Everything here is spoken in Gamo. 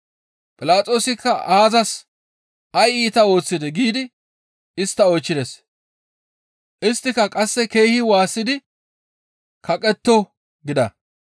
Philaxoosikka aazas? «Izi ay iita ooththidee?» giidi istta oychchides. Isttika qasse keehi waassidi, «Kaqetto!» gida.